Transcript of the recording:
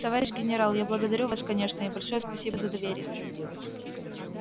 товарищ генерал я благодарю вас конечно и большое спасибо за доверие